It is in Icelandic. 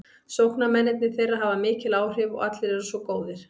Sóknarmennirnir þeirra hafa mikil áhrif og eru allir svo góðir.